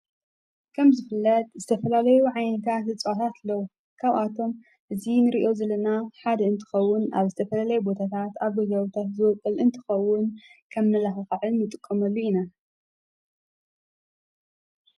ከም ዝፍለት ዝተፈለለዩ ኃይንካ ዘጽላት ለዉ ካብኣቶም ዝን ርእዮ ዘለና ሓድ እንትኸውን ኣብ ዝተፈለለይ ቦታታት ኣብገው ታሕዘወቕል እንትኸውን ከም ንለዉ ኸዕል ይጥቆምኣሉ ኢና፡፡